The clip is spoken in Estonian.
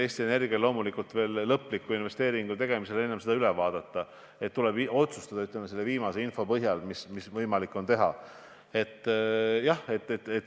Eesti kliimaeesmärgid ja energiamajanduse arengukava näevad ette kõvasti rohkem kui 200 tuuliku püstitamise Eestisse.